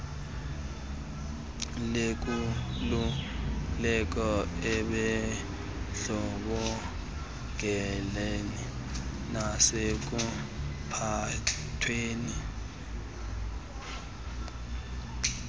lenkululeko ebundlobongeleni nasekuphathweni